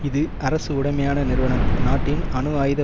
இது அரசு உடைமையான நிறுவனம் நாட்டின் அணு ஆயுத